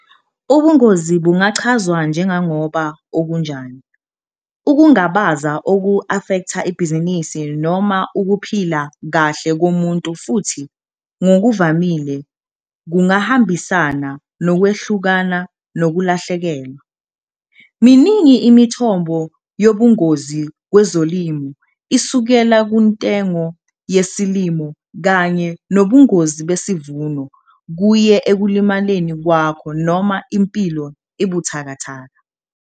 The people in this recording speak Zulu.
Ubungozi bungachazwa njenganoba okunjani ukungabaza oku-afektha ibhizinini noma ukuphila kahle komuntu futhi ngokuvamile kungahambisana nokwehlukana nokulahlekelwa. Miningi imithombo yobungozi kwezolimo isukela kuntengo yesilimo kanye nobungozi besivuno kuye ekulimaleni kwakho noma impilo ebuthakathaka.